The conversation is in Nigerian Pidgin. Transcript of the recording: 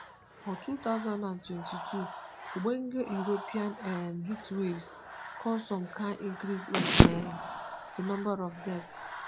for two thousand and twenty-two ogbonge european um heatwaves cause some kain increase in um di number of deaths.